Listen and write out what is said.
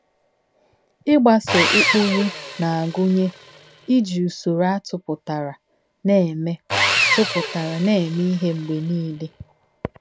Ịgbaso ụkpụrụ na-agụnye ‘ iji usoro a tụpụtara na-eme tụpụtara na-eme ihe mgbe niile. ’